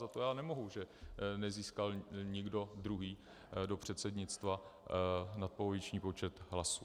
Za to já nemohu, že nezískal nikdo druhý do předsednictva nadpoloviční počet hlasů.